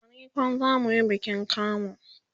a nicon zamuyi bikin kamu